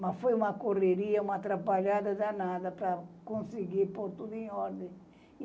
Mas foi uma correria, uma atrapalhada danada para conseguir pôr tudo em ordem.